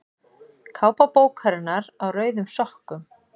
Kápa bókarinnar Á rauðum sokkum.